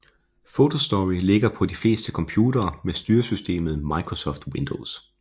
Photo Story ligger på de fleste computere med styre systemet Microsoft Windows